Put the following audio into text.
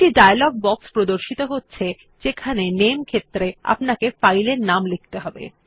একটি dialog box প্রদর্শিত হচ্ছে যেখানে নামে ক্ষেত্র এ আপনাকে ফাইল এর নাম লিখতে হবে